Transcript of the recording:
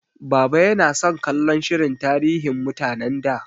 Baba yana son kallon shirin tarihin mutanen da.